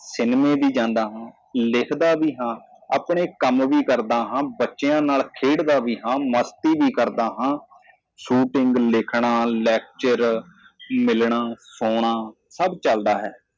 ਮੈਂ ਵੀ ਸਿਨੇਮਾ ਜਾਂਦਾ ਹਾਂ ਮੈਂ ਵੀ ਲਿਖਦਾ ਹਾਂ ਮੈਂ ਵੀ ਆਪਣਾ ਕੰਮ ਕਰਦਾ ਹਾਂ ਮੈਂ ਵੀ ਬੱਚਿਆਂ ਨਾਲ ਖੇਡਦਾ ਹਾਂ ਮੈਨੂੰ ਵੀ ਮਜ਼ਾ ਆਉਂਦਾ ਹੈ ਸ਼ੂਟਿੰਗ ਲਿਖਣ ਲੈਕਚਰ ਮਿਲੋ ਅਤੇ ਸੌਂਵੋ ਸਭ ਕੁਝ ਚਲਦਾ ਹੈ